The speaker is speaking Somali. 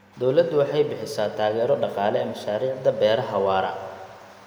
Dawladdu waxay bixisaa taageero dhaqaale mashaariicda beeraha waara.